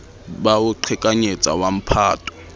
ba ho qhekanyetsa wa mphato